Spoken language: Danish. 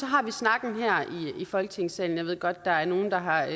har vi snakken her i folketingssalen jeg ved godt at nogle har